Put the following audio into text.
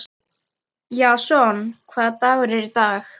Jason, hvaða dagur er í dag?